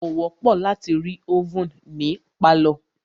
Kò wọ́pọ̀ láti rí ovèn ní pálọ̀.